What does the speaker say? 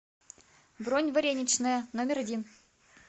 бронь вареничная номер один